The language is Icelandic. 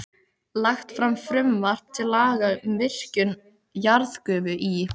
Lagt fram frumvarp til laga um virkjun jarðgufu í